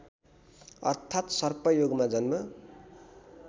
अर्थात् सर्पयोगमा जन्म